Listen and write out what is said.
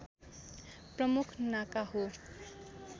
प्रमुख नाका हो